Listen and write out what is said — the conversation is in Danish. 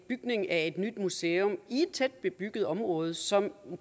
bygningen af et nyt museum i et tæt bebygget område som